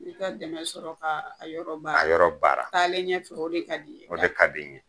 I ka dɛmɛ sɔrɔ ka a yɔrɔ baara taale ɲɛ fɛ, o de ka d'i ye ,o de ka di n ye!